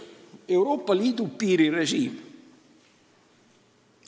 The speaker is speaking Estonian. Euroopa Liidu piirirežiim.